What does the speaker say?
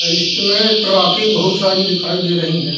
इसमें ट्रॉफी बहुत सारी दिखाई दे रही है।